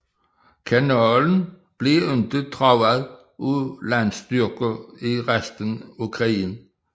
Kanalen blev ikke truet af landstyrker i resten af krigen